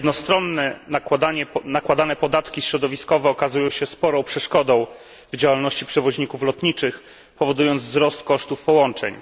Jednostronnie nakładane podatki środowiskowe okazują się sporą przeszkodą w działalności przewoźników lotniczych, powodując wzrost kosztów połączeń.